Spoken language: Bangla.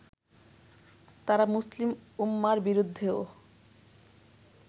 তারা মুসলিম উম্মার বিরুদ্ধেও